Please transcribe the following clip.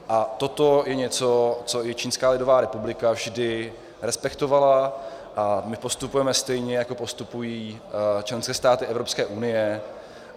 A toto je něco, co i Čínská lidová republika vždy respektovala a my postupujeme stejně, jako postupují členské státy Evropské unie.